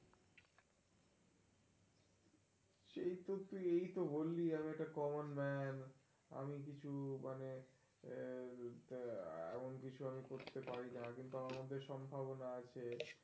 এই তো তুই এই তো বললি আমি একটা common man আমি কিছু মানে আহ এমন কিছু আমি করতে পারি না. কিন্তু, আমার মধ্যে সম্ভাবনা আছে.